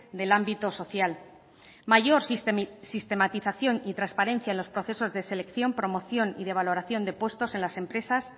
del ámbito social mayor sistematización y transparencia en los procesos de selección promoción y de valoración de puestos en las empresas